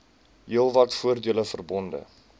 heelwat voordele verbonde